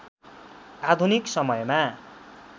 आधुनिक समयमा